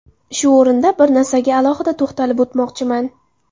Shu o‘rinda bir narsaga alohida to‘xtatilib o‘tmoqchiman.